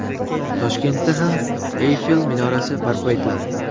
Toshkentda ham Eyfel minorasi barpo etiladi.